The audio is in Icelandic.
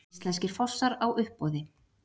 Íslenskir fossar á uppboði